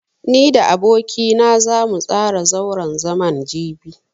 Ni da aboki na zamu tsara zauren zaman jibi.